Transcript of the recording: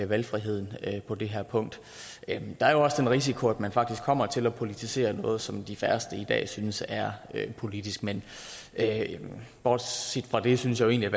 valgfriheden på det her punkt der er jo også den risiko at man faktisk kommer til at politisere noget som de færreste i dag synes er politisk men bortset fra det synes jeg jo